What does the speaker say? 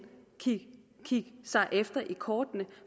kigge sig i kortene